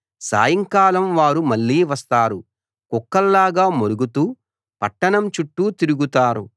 సాయంకాలం వారు మళ్ళీ వస్తారు కుక్కల్లాగా మొరుగుతూ పట్టణం చుట్టూ తిరుగుతారు